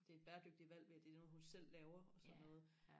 det er et bæredygtigt valg ved at det er noget hun selv laver og sådan noget